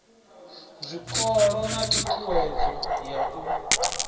zwikolo na ṱhuṱhuwedzo ya u